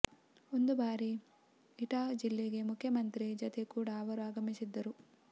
ಒಂದು ಬಾರಿ ಇಟಾಹ್ ಜಿಲ್ಲೆಗೆ ಮುಖ್ಯಮಂತ್ರಿ ಜತೆ ಕೂಡ ಅವರು ಆಗಮಿಸಿದ್ದರು